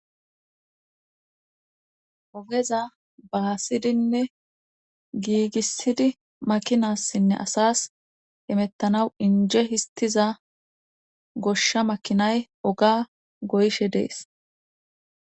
ogeza baasidinne giigissidi makinassinne asas emettanaw inje histiza goshsha makinay oga goyshe dees